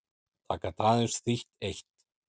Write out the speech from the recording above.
Það gat aðeins þýtt eitt.